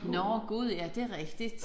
Nåh Gud ja det rigtigt